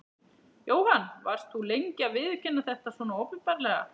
Jóhann: Varst þú lengi að viðurkenna þetta svona opinberlega?